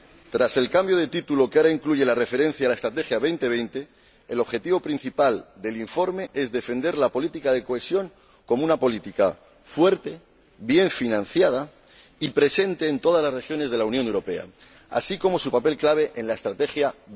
Tras el cambio de título que ahora incluye la referencia a la Estrategia Europa 2020, el objetivo principal del informe es defender la política de cohesión como una política fuerte, bien financiada y presente en todas las regiones de la Unión Europea, así como su papel clave en la Estrategia Europa